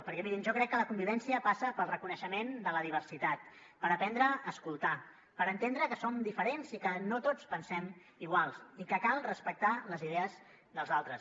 perquè mirin jo crec que la convivència passa pel reconeixement de la diversitat per aprendre a escoltar per entendre que som diferents i que no tots pensem igual i que cal respectar les idees dels altres